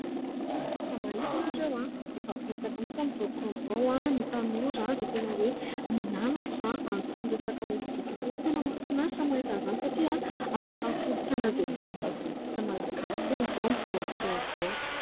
Raha mahita ianareo, efa betsaka mihitsy amin'izao fotoana izao ny tanora izay tena hoe mianatra an'itony resaka hosodoko itony. Tena mahafinaritra ny mahita an'izany satria anisan'ny kolontsaina izay mbola tazomintsika Malagasy foana izy io amin'izao fotoana izao.